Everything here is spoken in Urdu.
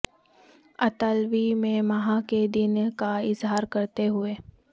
اطالوی میں ماہ کے دن کا اظہار کرتے ہوئے